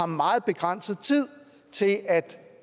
meget begrænset tid til at